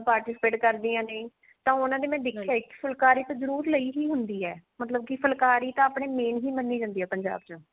participate ਕਰਦੀਆਂ ਨੇ ਤਾਂ ਉਹਨਾ ਦੇ ਮੈਂ ਇੱਕ ਫੁਲਕਾਰੀ ਤਾਂ ਜਰੁਰ ਲਈ ਹੀ ਹੁੰਦੀ ਆ ਮਤਲਬ ਫੁਲਕਾਰੀ ਤਾਂ ਆਪਣੇ main ਹੀ ਮੰਨੀ ਜਾਂਦੀ ਆ ਪੰਜਾਬ ਚ